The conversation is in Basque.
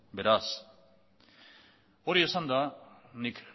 hori esanda nik